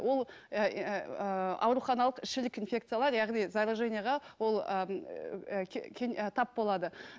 ол ыыы ауруханалық инфекциялар яғни зараженияға ол ыыы тап болады